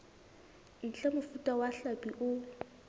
ntle mofuta wa hlapi o